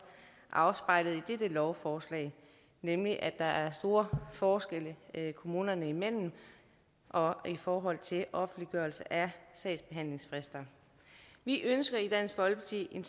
afspejlet i dette lovforslag nemlig at der er store forskelle kommunerne imellem og i forhold til offentliggørelse af sagsbehandlingsfrister vi ønsker i dansk folkeparti en